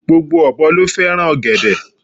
Gbogbo ọ̀bọ ló fẹ́ràn ọ̀gẹ̀dẹ̀